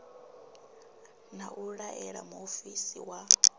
na u laela muofisi wa